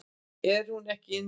Er hún ekki inni?